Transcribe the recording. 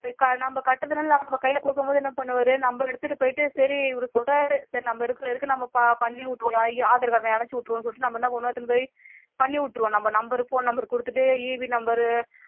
நம்ம கட்டுனதுனால கைல கொடுக்கும்போது என்ன பண்ணுவாரு நம்ம எடுத்துட்டு போயிட்டு சரி இவரு சொல்றாரு சரி நம்ம இருக்கிற வரைக்கும் நம்ம பண்ணி விட்டுருவோம aadhar card டா இணைச்சு விட்டுருவோம் சொல்லிட்டு நம்ம என்ன பண்ணுவோம் திரும்ப போய் பண்ணி விட்டுருவோம் number phone number குடுத்துட்டு EB number